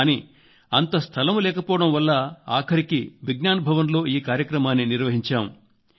కానీ అంత స్థలం లేకపోవడం వల్ల ఆఖరుకు విజ్ఞాన్ భవన్ లో ఈ కార్యక్రమాన్ని నిర్వహించాం